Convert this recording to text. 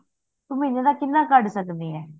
ਤੂੰ ਮਹੀਨੇ ਦਾ ਕਿਹਨਾਂ ਕੱਢ ਸਕਦੀ ਆ